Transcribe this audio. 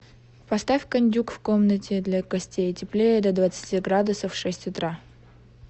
поставь кондюк в комнате для гостей теплее до двадцати градусов в шесть утра